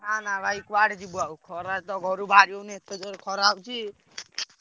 ନା ନା ଭାଇ କୁଆଡେ ଯିବ ଆଉ ଖରାରେ ତ ଘରୁ ବାହାରି ହଉନି ଏତେ ଜୋରେ ଖରା ହଉଛି।